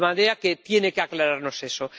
De manera que tiene que aclararnos eso.